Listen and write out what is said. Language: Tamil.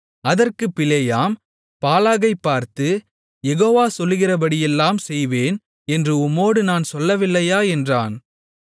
அதற்குப் பிலேயாம் பாலாகைப் பார்த்து யெகோவா சொல்லுகிறபடியெல்லாம் செய்வேன் என்று உம்மோடு நான் சொல்லவில்லையா என்றான்